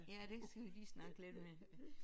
Ja det skal vi lige snakke lidt mere